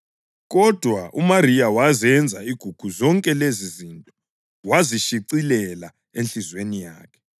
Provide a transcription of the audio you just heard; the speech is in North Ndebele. Kodwa uMariya wazenza igugu zonke lezizinto wazishicilela enhliziyweni yakhe.